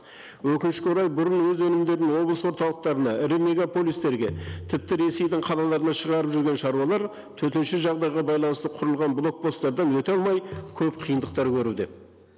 өкінішке орай бұрын өз өнімдерін облыс орталықтарына ірі мегаполистерге тіпті ресейдің қалаларына шығарып жүрген шаруалар төтенше жағдайға байланысты құрылған блок посстардан өте алмай көп қиындықтар көруде